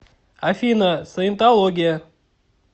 афина саентология